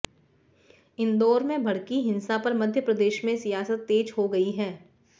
इंदौर में भड़की हिंसा पर मध्यप्रदेश में सियासत तेज हो गई है